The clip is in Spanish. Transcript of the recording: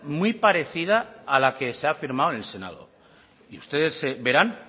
muy parecida a la que se ha firmado en el senado y ustedes verán